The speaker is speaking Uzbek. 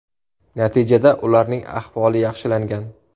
Natijada ularning ahvoli yaxshilangan.